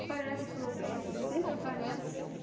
Aparece problema, sempre aparece.